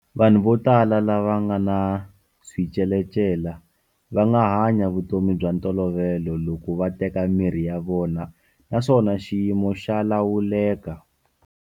Vanhu vo tala lava nga ni switshetshela va nga hanya vutomi bya ntolovelo loko va teka mirhi ya vona naswona xiyimo xa lawuleka.